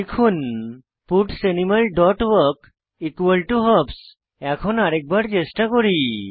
লিখুন parts animal dot walk hops এখন আরেক বার চেষ্টা করি